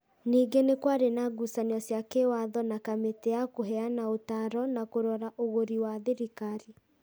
Ningĩ nĩ kwarĩ na ngucanio cia kĩĩwatho na Kamĩtĩ ya Kũheana Ũtaaro na Kũrora Ũgũri wa thirikari.